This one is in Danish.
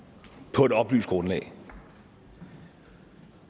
på et oplyst grundlag